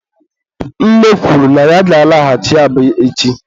nne kwuru na ya ga-alaghachi Aba echi.